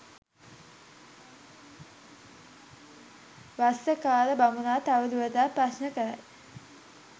වස්සකාර බමුණා තවදුරටත් ප්‍රශ්න කරයි.